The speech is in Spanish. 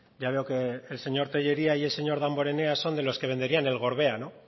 ya veo que el señor tellería y el señor damborena son de los que venderían el gorbea no